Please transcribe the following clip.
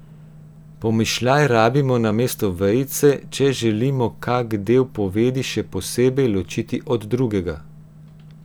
Pomišljaj rabimo namesto vejice, če želimo kak del povedi še posebej ločiti od drugega.